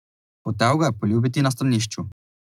Hotel ga je poljubiti na stranišču.